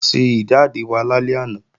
A ṣe ìjáde wa lálẹ́ àná